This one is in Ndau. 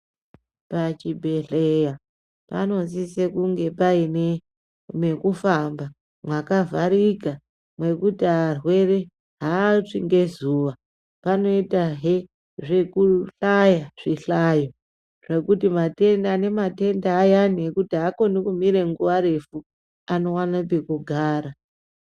Pachibhedhlera panosise kunge paine mekufamba mwakavharika mwekuti arwere haatsvi ngezuva. Panoitahe zvekuhlaya, zvihlayo zvekuti ane matenda ayani ekuti aakoni kumire nguwa refu, anowane pekugara.